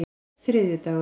þriðjudagar